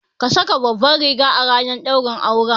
Ka saka babbar riga ranar daurin aure